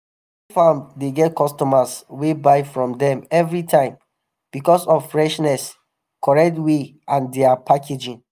farms dey get customers wey buy from dem evri time becos of freshness correct weight and dia packaging.